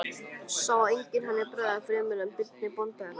Sá enginn henni bregða fremur en Birni bónda hennar.